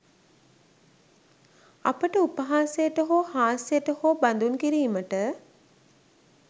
අපිට උපහාසයට හෝ හාස්‍යයට හෝ බදුන් කිරීමට